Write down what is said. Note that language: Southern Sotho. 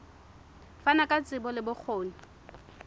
fana ka tsebo le bokgoni